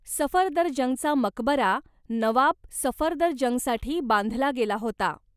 सफदरजंगचा मकबरा नवाब सफदरजंगसाठी बांधला गेला होता.